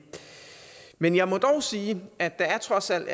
men jeg må dog sige at der trods alt